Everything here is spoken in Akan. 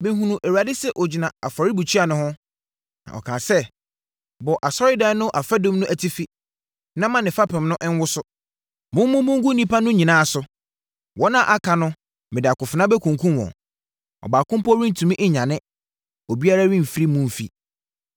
Mehunuu Awurade sɛ ɔgyina afɔrebukyia no ho, na ɔkaa sɛ, “Bɔ Asɔredan no afadum no atifi na mma ne fapem no nwoso. Mommubu ngu nnipa no nyinaa so; wɔn a aka no mede akofena bɛkunkum wɔn. Ɔbaako mpo rentumi nnwane obiara remfiri mu mfi.